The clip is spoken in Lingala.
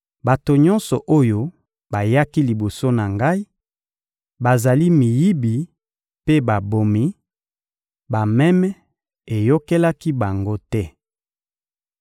Bato nyonso oyo bayaki liboso na Ngai bazali miyibi mpe babomi; bameme eyokelaki bango te.